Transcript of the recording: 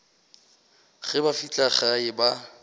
ge ba fihla gae ba